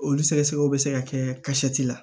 Olu sɛgɛsɛgɛliw be se ka kɛ kasɛti la